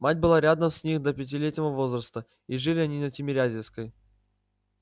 мать была рядом с ним до пятилетнего возраста и жили они на тимирязевской